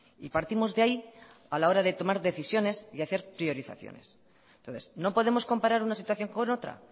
y partimos de ahí a la hora de tomar decisiones y hacer priorizaciones entonces no podemos comparar una situación con otra